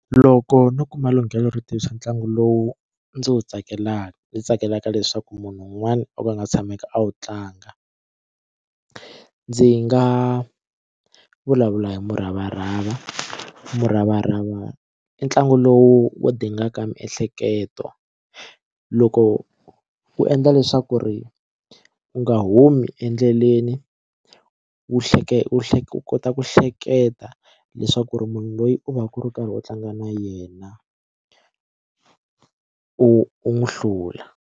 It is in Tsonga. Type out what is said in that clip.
Loko no kuma lunghelo ro ntlangu lowu ndzi wu tsakelaka ndzi tsakelaka leswaku munhu un'wana o ka a nga tshameki a wu tlanga ndzi nga vulavula hi muravarava. Muravarava i ntlangu lowu wu dingaka miehleketo loko u endla leswaku ri u nga humi endleleni wu hleketa u hleketa u kota ku hleketa leswaku ri munhu loyi u va ku ri u karhi u tlanga na yena u u n'wi hlula.